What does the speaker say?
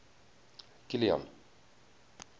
kilian